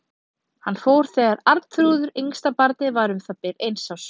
Hann fór þegar Arnþrúður, yngsta barnið, var um það bil eins árs.